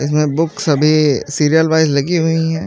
इसमें बुक्स सभी serial wise लगी हुई हैं।